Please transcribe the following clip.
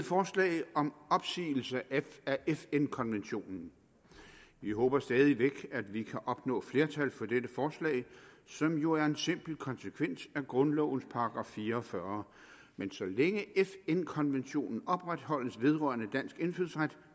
forslag om opsigelse af fn konventionen vi håber stadig væk at vi kan opnå flertal for dette forslag som jo er en simpel konsekvens af grundlovens § fire og fyrre men så længe fn konventionen opretholdes vedrørende dansk indfødsret